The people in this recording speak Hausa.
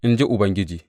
in ji Ubangiji.